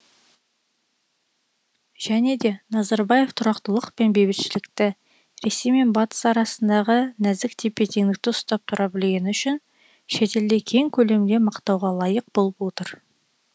және де назарбаев тұрақтылық пен бейбітшілікті ресей мен батыс арасындағы нәзік тепе теңдікті ұстап тұра білгені үшін шетелде кең көлемде мақтауға лайық болып отыр